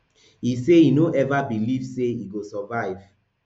e say e no ever believe say e go survive